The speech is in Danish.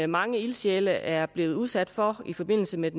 mange ildsjæle er blevet udsat for i forbindelse med